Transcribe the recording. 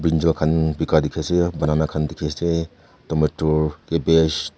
joa khan bika dikhi ase banana khan dikhi ase tomator cabbage --